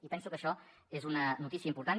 i penso que això és una notícia important